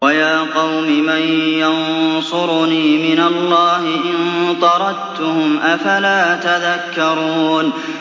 وَيَا قَوْمِ مَن يَنصُرُنِي مِنَ اللَّهِ إِن طَرَدتُّهُمْ ۚ أَفَلَا تَذَكَّرُونَ